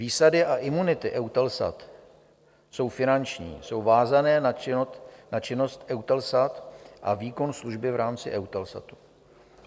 Výsady a imunity EUTELSAT jsou finanční, jsou vázané na činnost EUTELSAT a výkon služby v rámci EUTELSATu.